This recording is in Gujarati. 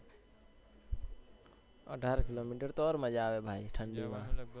અઢાર કિલો મીટર તો ઔર મજા આવે ભાઈ ઠંડી માં,